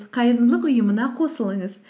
қайырымдылық ұйымына қосылыңыз